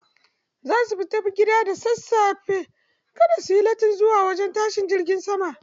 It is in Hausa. Za su fita daga gida da sassafe kar su yi lattin zuwa wajen tashin jirgin sama.